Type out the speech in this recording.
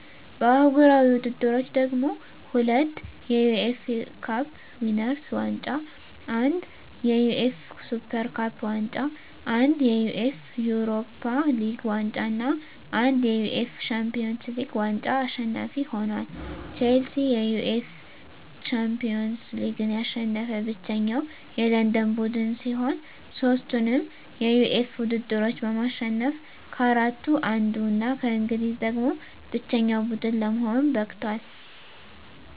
በአህጉራዊ ውድድሮች ደግሞ፤ ሁለት የዩኤፋ ካፕ ዊነርስ ዋንጫ፣ አንድ የዩኤፋ ሱፐር ካፕ ዋንጫ፣ አንድ የዩኤፋ ዩሮፓ ሊግ ዋንጫ እና አንድ የዩኤፋ ሻምፒዮንስ ሊግ ዋንጫ አሸናፊ ሆኖአል። ቼልሲ የዩኤፋ ሻምፒዮንስ ሊግን ያሸነፈ ብቸኛው የለንደን ቡድን ሲሆን፣ ሦስቱንም የዩኤፋ ውድድሮች በማሸነፍ ከአራቱ አንዱ እና ከእንግሊዝ ደግሞ ብቸኛው ቡድን ለመሆን በቅቷል።